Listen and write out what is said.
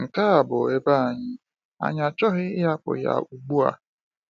Nke a bụ ebe anyị, anyị achọghị ịhapụ ya ugbu a.